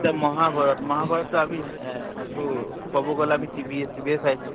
এতিয়া মহাভাৰত, মহাভাৰত টো আমি এহ ত কব গলে আমি TV এ TV এ চাইছো।